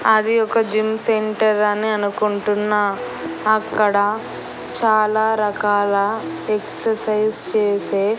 అది ఒక gym centre అని అనుకుంటున్నా అక్కడ చాలా రకాల ఎక్సర్సైజ్ చేసే--